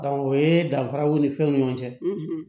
o ye danfaraw ni fɛnw ni ɲɔgɔn cɛ